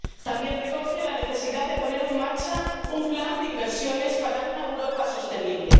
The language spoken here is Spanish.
También recoge la necesidad de poner en marcha un plan de inversiones para una Europa sostenible.